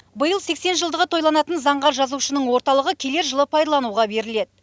биыл сексен жылдығы тойланатын заңғар жазушының орталығы келер жылы пайдалануға беріледі